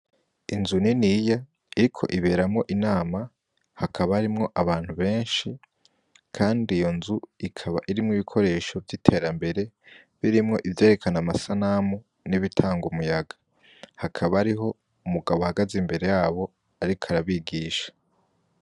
Inzu niniya iriko iberamwo inama, hakaba harimwo abantu benshi, kandi iyo nzu ikaba irimwo ibikoresho vy'iterambere birimwo ivyerekana amasanamu n'ibitanga umuyaga. Hakaba hariho umugabo ahagaze imbere yabo ariko arabigisha.